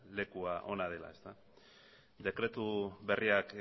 leku ona dela dekretu berriak